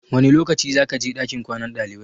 Wane lokaci zakaje ɗakin kwanan ɗalibai?